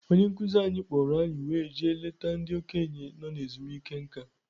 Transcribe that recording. Onye nkuzi anyị kpọrọ anyị wee jee leta ndị okenye nọ ezumike nká.